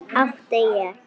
Átti ég.